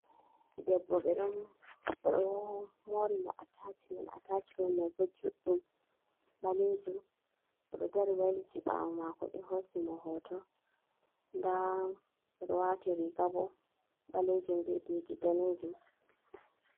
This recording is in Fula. Debbo ɓeɗo oɗo mori mo a tacimen, a tacimem mai bo juɗɗum, ɓalejum, oɗo dari Wai liti ɓawo mako ɓe hosi mo hoto, nɗa oɗo wati riga bo ɓalejum be didi ɗanejum.